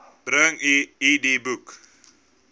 bring u idboek